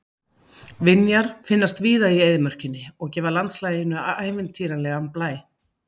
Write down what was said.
Vinjar finnast víða í eyðimörkinni og gefa landslaginu ævintýralegan blæ.